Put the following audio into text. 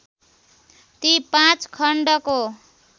ती पाँच खण्डको